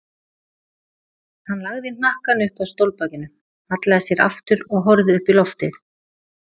Hann lagði hnakkann upp að stólbakinu, hallaði sér aftur og horfði upp í loftið.